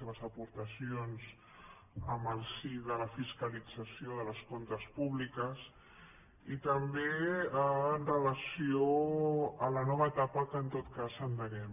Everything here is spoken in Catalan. seves aportacions en el si de la fiscalització dels comptes públics i també amb relació a la nova etapa que en tot cas endeguem